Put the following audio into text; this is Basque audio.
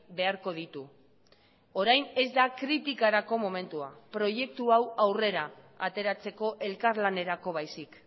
beharko ditu orain ez da kritikarako momentua proiektu hau aurrera ateratzeko elkarlanerako baizik